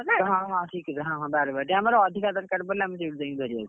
ହଁ ଠିକ୍ କହିଲ ହଁ ବାରବାଟୀ, ଆମର ଅଧିକା ଦରକାର ପଡିଲେ ଆମେ ସେଇଠୁ ଯାଇ ଧରି ଆସୁ।